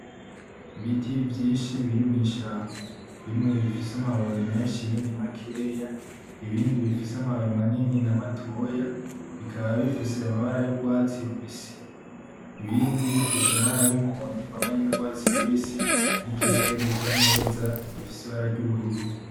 Ibiti vyinshi biri mwishamba bimwe bifise amababi menshi ibindi makeya ibindi bifise amababi manini namatoya bikaba bifise amabara yugwatsi rubisi ibindi bifise amabara y'umuhondo uvanganye n'ugwatsi rubisi nikirere gisa neza gifise ibara ryubururu.